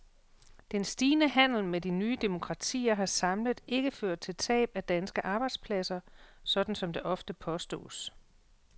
Den stigende handel med de nye demokratier har samlet ikke ført til tab af danske arbejdspladser, sådan som det ofte påstås.